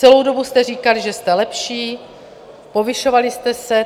Celou dobu jste říkali, že jste lepší, povyšovali jste se.